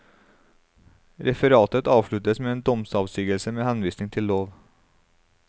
Referatet avsluttes med en domsavsigelse med henvisning til lov.